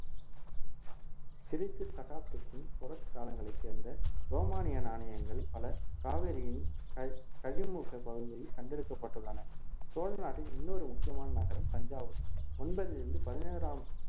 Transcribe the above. கிறித்து சகாப்தத்தின் தொடக்க காலங்களை சேர்ந்த ரோமானிய நாணயங்கள் பல காவேரியின் க~ கழிமுக பகுதியில் கண்டெடுக்கப்பட்டுள்ளன சோழ நாட்டின் இன்னொரு முக்கியமான நகரம் தஞ்சாவூர் ஒன்பதிலிருந்து பதினொறாம்